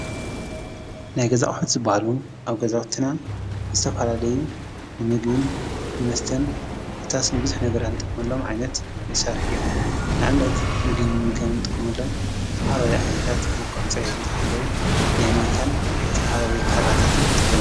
ናይ ገዛ ኣቅሑ ዝብሃሉ ኣብ ገዛውትና ዝተፈላለዩ ንምግብን ንመስተን ኮታስ ንብዙሕ ነገራት እንጥቀመሎም ዓይነት መሳርሒ እዮም፡፡ ንኣብነት ምግቢ ንምምጋብ እንጥቀመሎም ዝተፈላለዩ ዓይነታት መልክዖም ፅሬቶም ዝሓለው ናይ ማንካን ዝተፈላለዩ ካራታትን ንጥቀም፡፡